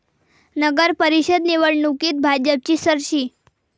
नगरपरिषद निवडणुकीत भाजपची सरशी